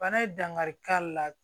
Bana ye dankari k'a la